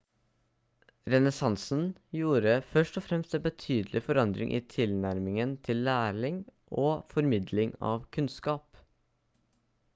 renessansen gjorde først og fremst en betydelig forandring i tilnærmingen til læring og formidling av kunnskap